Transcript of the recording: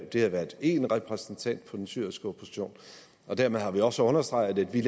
har været en repræsentant for den syriske opposition dermed har vi også understreget at vi